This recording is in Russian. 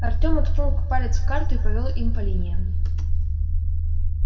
артем уткнул палец в карту и повёл им по линиям